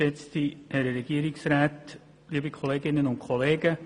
Kommissionspräsident der GPK.